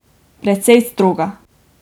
Precej stroga.